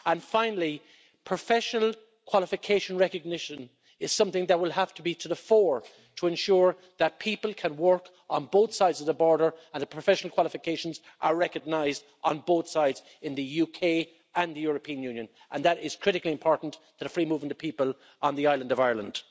Finally, professional qualification recognition is something that will have to be to the fore to ensure that people can work on both sides of the border and that professional qualifications are recognised on both sides in the UK and the European Union and that is critically important to the free movement of people on the island of Ireland.